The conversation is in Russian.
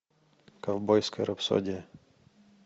ковбойская рапсодия